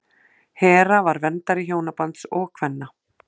hera var verndari hjónabands og kvenna